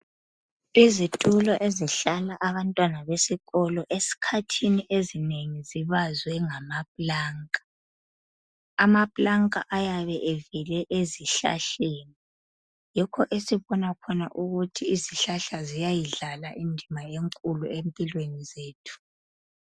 Izitulo ezihlala abantwana besikolo eskhathini ezinengi zibazwe ngamaplanka. Amaplanka ayabe evele ezihlahleni, yikho esibona khona ukuthi izihlahla ziyayidlala indima enkulu empilweni zethu.